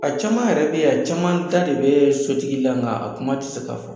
A caman yɛrɛ bɛ yen, a caman ba de bɛ sotigi la, nga a kuma tɛ se k'a fɔ.